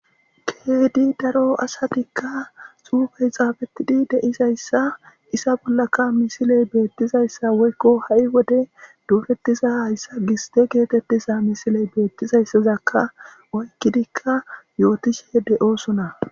Keehidi daro asatikka xuufe xaafetidi de7izayssa iza bollakka misile beetizayssa woykko hay wode dometizayssa gistte geetetiza misile beetizayssakka oykkidikka yotishe de7osona .